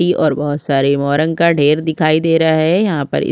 दी और बहुत सारे मोरंग का ढेर दिखाई दे रहा है यहाँ पर इस--